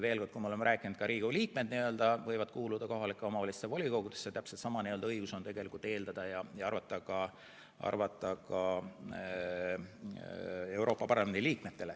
Veel kord: kui me oleme rääkinud, et ka Riigikogu liikmed võivad kuuluda kohalike omavalitsuste volikogudesse, siis täpselt sama õigus võiks tegelikult olla ka Euroopa Parlamendi liikmetel.